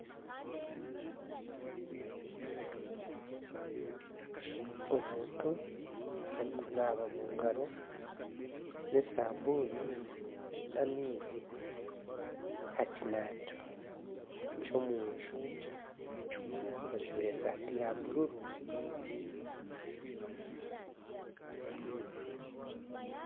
Omuntu arikunaba omu ngaro n'esabuuni n'amaizi aha kinabiro ky'omuju ajwaire esaati ya bururu.